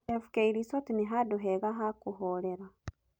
FK resort nĩ handũ heha ha kũhorera.